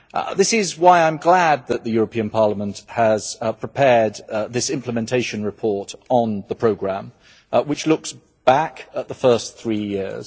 This is why I am glad that the European Parliament has prepared this implementation report on the programme, which looks back at the first three years.